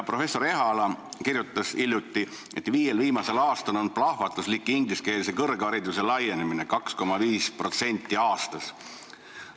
Professor Ehala kirjutas hiljuti, et viiel viimasel aastal on toimunud plahvatuslik ingliskeelse kõrghariduse laienemine: 2,5% aastas.